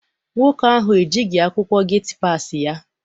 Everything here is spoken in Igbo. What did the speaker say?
Nwoke ahụ ejighị akwụkwọ geti passi ya.